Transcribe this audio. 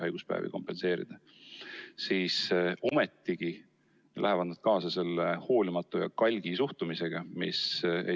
Aga ometi lähevad nad kaasa selle hoolimatu ja kalgi suhtumisega.